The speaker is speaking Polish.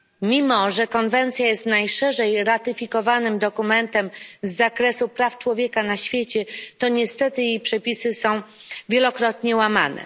Mimo że konwencja jest najszerzej ratyfikowanym dokumentem z zakresu praw człowieka na świecie, to niestety jej przepisy są wielokrotnie łamane.